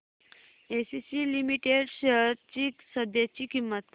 ACC limited shares ची सध्याची किंमत